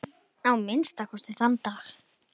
Að minnsta kosti þann dag.